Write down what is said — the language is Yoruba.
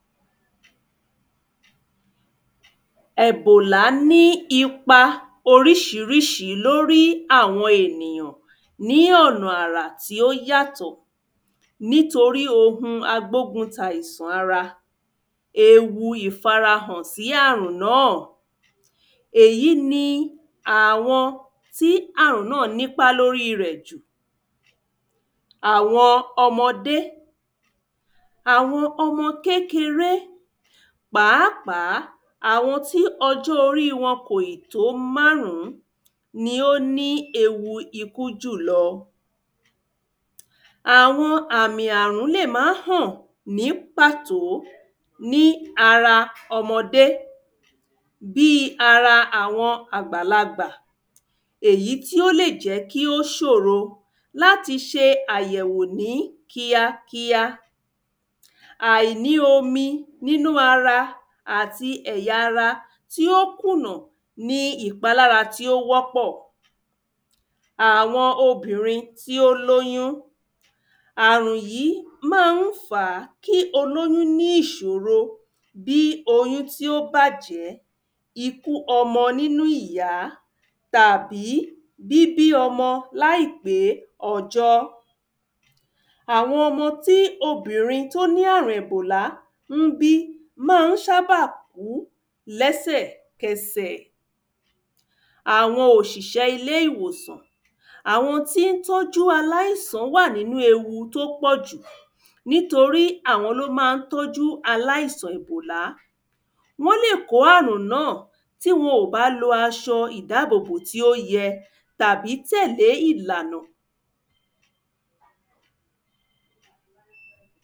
Ẹ̀bọ̀là ní ipa oríṣiríṣi l'órí àwọn ènìyàn ní ọ̀nà àrà tí ó yàtọ̀ nítorí ohun agbóguntàìsàn ara. Ewu ìfarahàn sí àrùn náà Èyí ni àwọn tí àrùn náà n'ípá l'órí rẹ̀ jù Àwọn ọmọde Àwọn ọmọ kékeré pàápàá àwọn tí ọjọ́ orí wọn kò ì tó márún. ni ó ní ewu ikú jù lọ. Àwọn àmì àrùn lè má hàn ní pàtó ní ara ọmọde bí i ara àwọn àgbàlagbà. Èyí tí ó lè jẹ́ kó ṣòro l’áti ṣe àyẹ̀wò ní kíá kíá. Àìní omi n'ínú ara àti ẹ̀yà ara tí ó kùnà ni ìpalára tí ó wọ́pọ̀. Àwọn obìnrin tí ó l’óyún Àrùn yí má ń fàá kí kí ní ìṣòro bí oyún tí ó bàjẹ́ ikú ọmọ n'ínú ìyá tàbí bíbí ọmọ láìpé ọjọ́. Àwọn ọmọ tí obìnrin t’ó ní àrùn ẹ̀bòlá ń bí má a ń ṣábà kú lẹ́sẹ̀kẹsẹ̀. Àwọn òṣìsẹ́ ilé ìwòsàn Àwọn tí ń tọ́jú aláìsàn wà n'ínú ewu t'ó pọ̀ jù nítorí àwọn l'ó má ń tọ́jù aláìsàn èbòlá Wọ́n lè kó àrùn náà tí wọn ò bá lo aṣọ ìdábòbò tí ó yẹ tàbí tẹ̀lé ìlànà